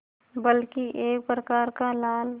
बल्कि एक प्रकार का लाल